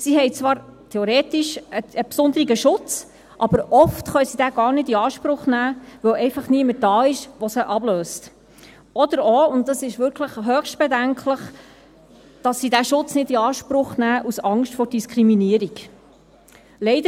Sie haben zwar theoretisch einen besonderen Schutz, aber oft können sie diesen gar nicht in Anspruch nehmen, weil einfach niemand da ist, der sie ablöst, oder auch – und dies ist wirklich höchst bedenklich –, weil sie Angst vor Diskriminierung haben.